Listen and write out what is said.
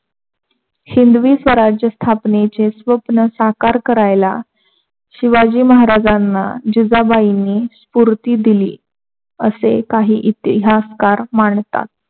हिंदवी स्वराज्य स्थापनेचे स्वप्न साकार करायला शिवाजी महाराजना जीजाबाईनी स्पुर्ती दिली. असे काही इतिहासकार मानतात.